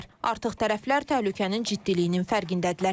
Artıq tərəflər təhlükənin ciddiliyinin fərqindədirlər.